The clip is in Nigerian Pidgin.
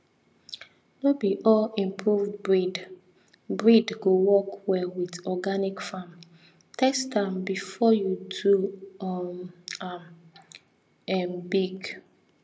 no be all improved breed breed go work well with organic farmtest am before you do um am um big